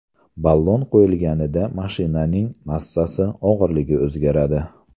Ballon qo‘yilganida mashinaning massasi, og‘irligi o‘zgaradi.